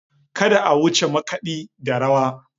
Kada a wuce makaɗi da rawa.